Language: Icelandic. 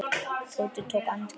Tóti tók andköf.